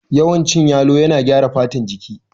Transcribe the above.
Yawan cin yalo yana gyara fatan jiki